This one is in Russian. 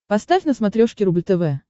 поставь на смотрешке рубль тв